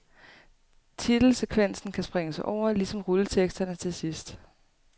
Titel sekvensen kan springes over, ligesom rulleteksterne til sidst.